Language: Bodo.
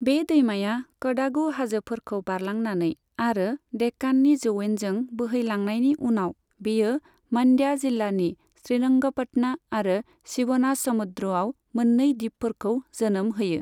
बे दैमाया कडागु हाजोफोरखौ बारलांनानै आरो देक्काननि जौयेनजों बोहेलांनायनि उनाव, बेयो मानड्या जिल्लानि श्रीरंगपटना आरो शिवनासमुद्रआव मोननै दिपफोरखौ जोनोम होयो।